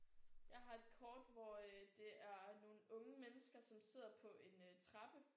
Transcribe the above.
Jeg har et kort hvor øh det er nogle unge mennesker som sidder på en øh trappe